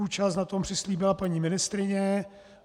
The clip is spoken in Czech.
Účast na tom přislíbila paní ministryně.